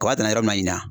Kɔn ka taa yɔrɔ min na ɲina